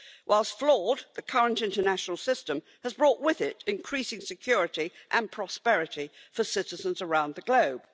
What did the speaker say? Whilst flawed, the current international system has brought with it increasing security and prosperity for citizens around the globe.